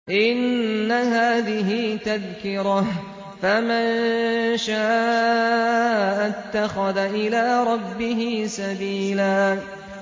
إِنَّ هَٰذِهِ تَذْكِرَةٌ ۖ فَمَن شَاءَ اتَّخَذَ إِلَىٰ رَبِّهِ سَبِيلًا